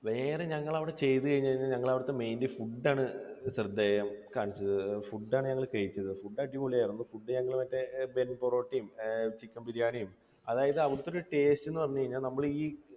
വേറെ ഞങ്ങൾ അവിടെ ചെയ്തത് എന്ന് പറഞ്ഞു കഴിഞ്ഞാൽ ഞങ്ങൾ അവിടുത്തെ mainly food ആണ് ശ്രദ്ധേയം. കാരണം food ആണ് ഞങ്ങൾ കഴിച്ചത്. food അടിപൊളിയായിരുന്നു. food ഞങ്ങൾ പൊറോട്ടയും chicken ബിരിയാണിയും, അതായത് അവിടുത്തെ ഒരു taste എന്ന് പറഞ്ഞു കഴിഞ്ഞാൽ